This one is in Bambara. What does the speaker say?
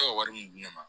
wari mun di ne ma